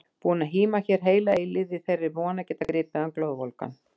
Búin að híma hér heila eilífð í þeirri von að geta gripið hann glóðvolgan!